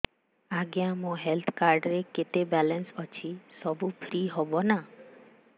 ଆଜ୍ଞା ମୋ health card ରେ କେତେ ବାଲାନ୍ସ ଅଛି ସବୁ ଫ୍ରି ହବ ନାଁ